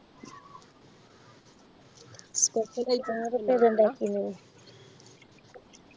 കൊർച് ഇണ്ടാക്കിനി